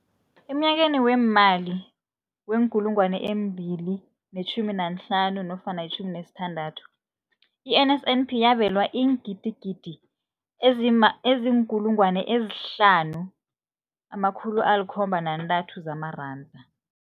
Emnyakeni weemali we-2015 nofana i-16, i-NSNP yabelwa iingidigidi ezi-5 703 zamaranda.